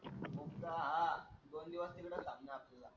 मुक्काम हा दोन दिवस तिकडेच थांबणार आपण.